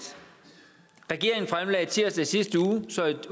regeringen fremlagde tirsdag i sidste uge et